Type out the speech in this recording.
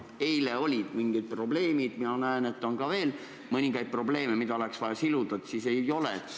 Eile olid mingid probleemid ja mina näen, et on ka mõningaid muid asju, mida oleks vaja veel siluda.